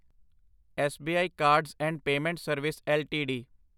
SBI cards and payment service LTD